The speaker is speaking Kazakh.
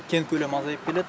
кен көлемі азайып келеді